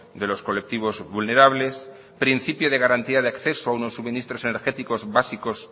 de los colectivos vulnerables principio de garantía de acceso a unos suministros energéticos básicos